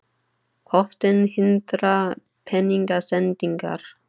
Höftin hindra peningasendingar